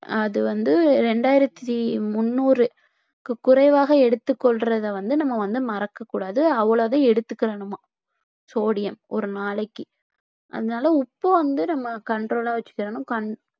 அது வந்து இரண்டாயிரத்தி முன்னூறுக்கு குறைவாக எடுத்துக் கொள்றதை வந்து நம்ம வந்து மறக்கக்கூடாது அவ்வளவுதான் எடுத்துக்கிடணுமாம் sodium ஒரு நாளைக்கு அதனால உப்பு வந்து நம்ம control ஆ வச்சுக்கணும்